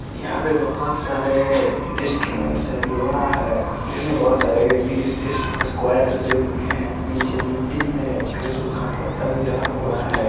यहां पे बहुत सारे लोहे हैं में हैं नीचे मिट्टी है सूखा पत्ता हैं।